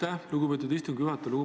Aitäh, lugupeetud istungi juhataja!